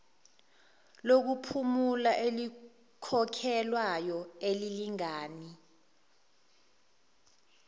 lokuphumula elikhokhelwayo elilingana